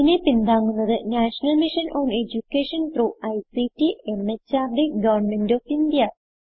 ഇതിനെ പിന്താങ്ങുന്നത് national mission on education through ICT MHRD government of India